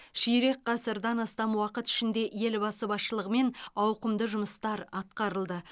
ширек ғасырдан астам уақыт ішінде елбасы басшылығымен ауқымды жұмыстар атқарылды